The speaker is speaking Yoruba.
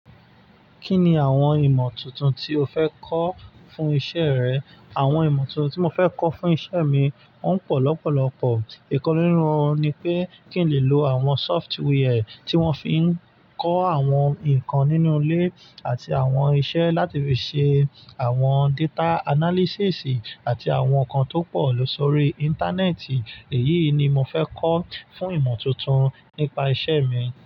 Kí ni àwọn ìmọ̀ tuntun tí o fẹ́ kọ́ fún iṣẹ́ rẹ? Àwọn ìmọ̀ tuntun tí mo fẹ́ kọ́ fún iṣẹ́ mi wọ́n pọ̀ lọ́pọ̀lọ́pọ̀. Ìkan nínú wọn ni pé kí n lè lo àwọn software tí wọ́n fi ń kọ àwọn nǹkan nínú ilé àti àwọn iṣẹ́ láti fi ṣe àwọn data analysis àti àwọn nǹkan tó pọ̀ lóṣòrí Íńtánẹ́ẹ̀tì. Èyí ni mo fẹ́ kọ́ fún ìmọ̀ tuntun nípa iṣẹ́ mi.